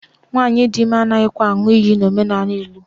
Nwaanyị di ime anaghịkwa aṅụ iyi n'omenala Igbo